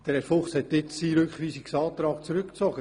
Herr Fuchs hat seinen Rückweisungsantrag zurückgezogen.